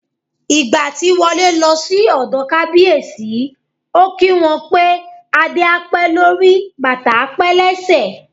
Ìgbà tí Wọlé lọ sí ọ̀dọ̀ Kábíyèsí, ó kí wọn pé "Adé á pẹ́ lórí, bàtà á pẹ́ lẹ́sẹ̀".